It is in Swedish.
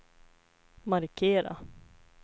markera